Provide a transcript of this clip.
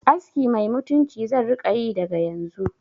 Aski mai mutunci zan rika yi daga yanzu